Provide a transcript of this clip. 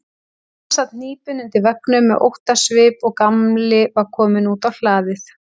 Amma sat hnípin undir veggnum með óttasvip og Gamli var kominn út á hlaðið.